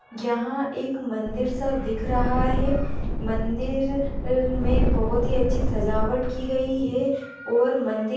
यहां एक मंदिर सा दिख रहा है मंदिर में बहुत ही अच्छी सजावट की गई है और मंदि--